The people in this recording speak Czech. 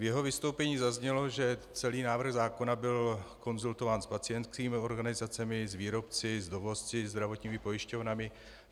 V jeho vystoupení zaznělo, že celý návrh zákona byl konzultován s pacientskými organizacemi, s výrobci, s dovozci, se zdravotními pojišťovnami.